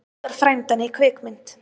Notar frændann í kvikmynd